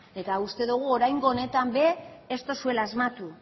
eta uste dugu oraingo honetan ere ez duzuela asmatu